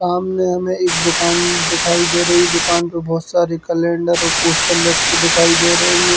सामने हमें एक दुकान दिखाई दे रही है। दुकान में बोहोत सारे कैलंडर और पोस्टर लटके दिखाई दे रहे है हेंगे।